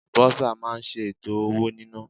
Bursar máa ń ṣe ètò owó nina.